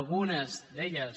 algunes d’elles